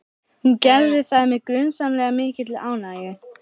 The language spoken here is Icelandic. Hún gerði það með grunsamlega mikilli ánægju.